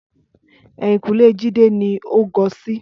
Ẹ̀yìnkùlẹ́ Jídé ni ó gọ sí